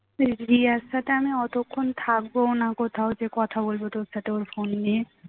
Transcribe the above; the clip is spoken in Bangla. রিয়ার সাথে আমি অতক্ষণ থাকবোও না কোথাও যে কথা বলবো তোর সাথে ওর ফোন নিয়ে